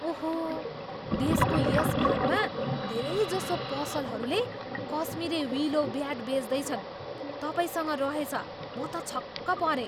ओहो! देशको यस भागमा धेरैजसो पसलहरूले कस्मिरी विलो ब्याट बेच्दैनन्। तपाईँसँग रहेछ, म त छक्क परेँ।